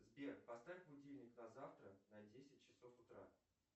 сбер поставь будильник на завтра на десять часов утра